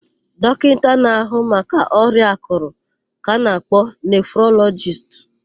Dọkịta na-áhụ̀ maka ọrịa àkụ̀rụ̀ ka ana-akpọ nefrolọjist.